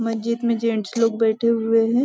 मस्जिद में जेंट्स लोग बैठे हुए है।